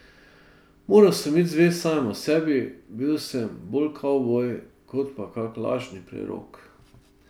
Moral sem biti zvest samemu sebi, bil sem bolj kavboj kot pa kak lažni prerok.